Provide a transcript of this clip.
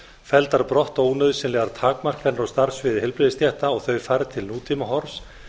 felldar brott ónauðsynlegar takmarkanir á starfssviði heilbrigðisstétta og þau færð til nútímahorfs